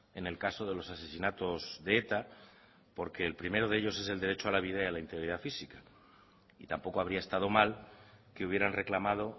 en el caso de los asesinatos de eta por que el primero de ellos es el derecho a la vida y a la integridad física y tampoco habría estado mal que hubieran reclamado